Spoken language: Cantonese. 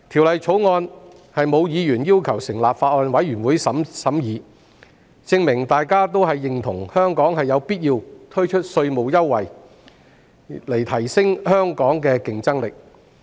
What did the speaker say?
沒有議員要求成立法案委員會審議《條例草案》，證明大家認同香港必須推出稅務優惠，以提升競爭力。